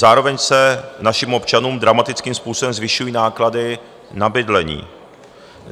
Zároveň se našim občanům dramatickým způsobem zvyšují náklady na bydlení.